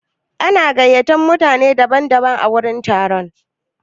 An gayyaci mutane daban daban a wurin taron.